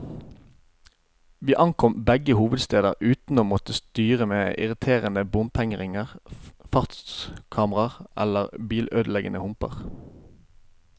Vi ankom begge hovedsteder uten å måtte styre med irriterende bompengeringer, fartskameraer eller bilødeleggende humper.